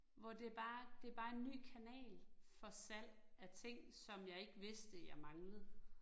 Hvor det er bare, det bare en ny kanal for salg af ting, som jeg ikke vidste, jeg manglede